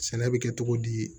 Sɛnɛ bɛ kɛ cogo di